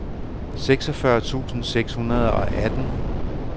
seksogfyrre tusind seks hundrede og atten